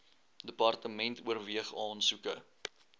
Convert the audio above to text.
department oorweeg aansoeke